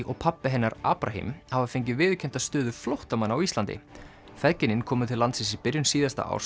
og pabbi hennar hafa fengið viðurkennda stöðu flóttamanna á Íslandi feðginin komu til landsins í byrjun síðasta árs